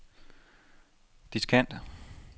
diskant